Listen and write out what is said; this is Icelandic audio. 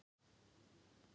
En komirðu, karl minn!